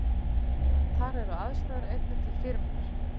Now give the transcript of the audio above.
Þar eru aðstæður einnig til fyrirmyndar